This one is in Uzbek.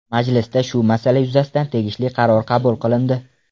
Majlisda shu masala yuzasidan tegishli qaror qabul qilindi.